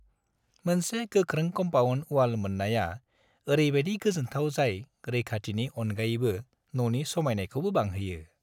मोनसे गोख्रों compound wall मोननाया ओरैबादि गोजोनथाव जाय रैखाथिनि अनगायैबो ननि समायनायखौबो बांहोयो।